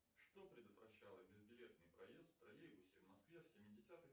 что предотвращало безбилетный проезд в троллейбусе в москве в семидесятых